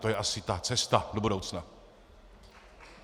To je asi ta cesta do budoucna.